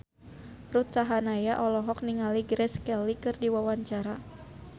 Ruth Sahanaya olohok ningali Grace Kelly keur diwawancara